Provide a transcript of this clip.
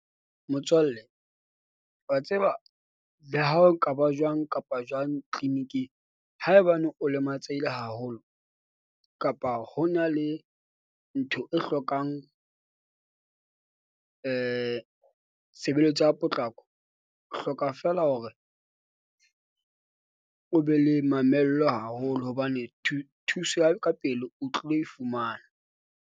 Motswalle wa tseba le ha ho ka ba jwang kapa jwang clinic-ing, haebane o lematsehileng haholo kapa hona le ntho e hlokang tshebeletso ya potlako. O hloka fela hore o be le mamello haholo hobane thuso ya ka pele o tlilo e fumana.